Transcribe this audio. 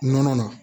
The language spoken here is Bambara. Nɔnɔ na